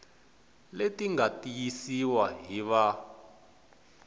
leti nga tiyisiwa hi va